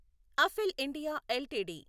అఫెల్ India LTD